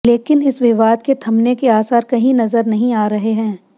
लेकिन इस विवाद के थमने के आसार कहीं नजर नहीं आ रहे हैं